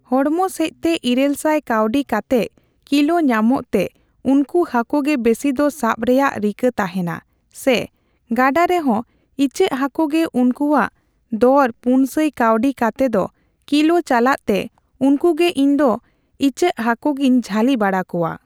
ᱦᱚᱲᱢᱚ ᱥᱮᱪᱛᱮ ᱤᱨᱟᱹᱞ ᱥᱟᱭ ᱠᱟᱣᱰᱤ ᱠᱟᱛᱮᱜ ᱠᱤᱞᱚ ᱧᱟᱢᱚᱜ ᱛᱮ ᱩᱱᱠᱩ ᱦᱟᱠᱩᱜᱮ ᱵᱮᱥᱤᱫᱚ ᱥᱟᱵᱨᱮᱭᱟᱜ ᱨᱤᱠᱟᱹ ᱛᱟᱦᱮᱱᱟ ᱥᱮ ᱜᱟᱰᱟ ᱨᱮᱦᱚᱸ ᱴᱪᱟᱹᱜ ᱦᱟᱹᱠᱩ ᱜᱮ ᱩᱱᱠᱩᱣᱟᱜ ᱫᱚᱨ ᱯᱩᱱᱥᱟᱭ ᱠᱟᱣᱰᱤ ᱠᱟᱛᱮᱫ ᱠᱤᱞᱚ ᱪᱟᱞᱟᱜ ᱛᱮ ᱩᱱᱠᱩᱜᱮ ᱤᱧᱫᱚ ᱤᱪᱟᱹᱜ ᱦᱟᱹᱠᱩ ᱜᱤᱧ ᱡᱷᱟᱹᱞᱤ ᱵᱟᱲᱟ ᱠᱚᱣᱟ ᱾